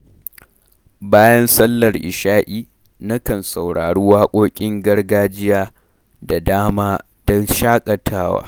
Bayan sallar isha’i, nakan saurari waƙoƙin gargajiya da dama don shakatawa.